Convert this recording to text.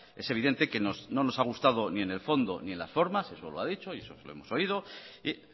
es evidente que no os ha gustado ni en el fondo ni en las formas eso lo ha dicho y eso se lo hemos oído y